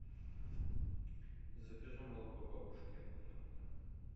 закажи молоко бабушкина крынка